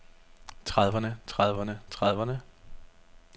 trediverne trediverne trediverne